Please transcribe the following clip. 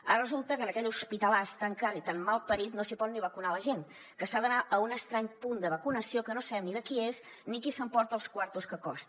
ara resulta que en aquell hospitalàs i tan mal parit no s’hi pot ni vacunar la gent que s’ha d’anar a un estrany punt de vacunació que no sabem ni de qui és ni qui s’emporta els quartos que costa